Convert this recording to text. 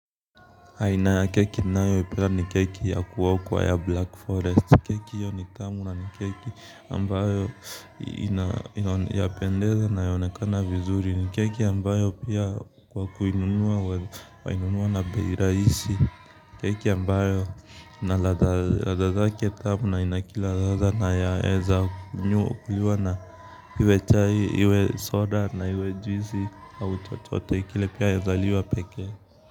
Aina ya keki ninayoipenda ni keki ya kuokwa ya Black Forest. Keki hiyo ni tamu na keki ambayo inapendeza, inayoonekana vizuri. Ni keki ambayo pia kwa kuinunua wainunua na bei rahisi keki ambayo ladha zake ni tamu na ina kila ladha na yaweza kuliwa na iwe chai, iwe soda na iwe juisi au chochote kile pia yaweza kuliwa pekee.